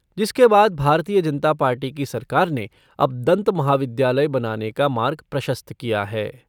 जिसके बाद भारतीय जनता पार्टी की सरकार ने अब दंत महाविद्यालय बनाने का मार्ग प्रशस्त किया है।